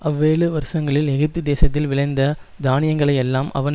அவ்வேழு வருஷங்களில் எகிப்து தேசத்தில் விளைந்த தானியங்களையெல்லாம் அவன்